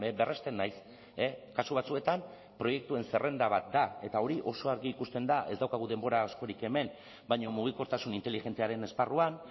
berresten naiz kasu batzuetan proiektuen zerrenda bat da eta hori oso argi ikusten da ez daukagu denbora askorik hemen baina mugikortasun inteligentziaren esparruan